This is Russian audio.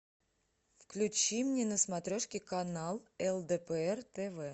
включи мне на смотрешке канал лдпр тв